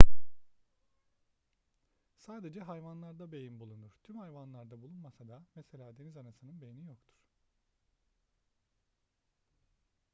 sadece hayvanlarda beyin bulunur tüm hayvanlarda bulunmasa da; mesela denizanasının beyni yoktur